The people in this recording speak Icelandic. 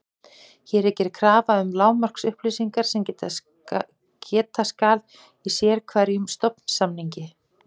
Hér er gerð krafa um lágmarksupplýsingar sem geta skal í sérhverjum stofnsamningi.